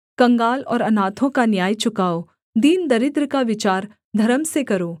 कंगाल और अनाथों का न्याय चुकाओ दीनदरिद्र का विचार धर्म से करो